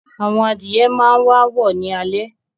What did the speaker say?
Àwọn adìye máa wàá wọ̀ ní alẹ́